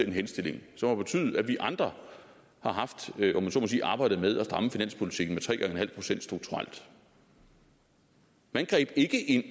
en henstilling som har betydet at vi andre har haft om jeg så må sige arbejdet med at stramme finanspolitikken med tre en halv procent strukturelt man greb ikke ind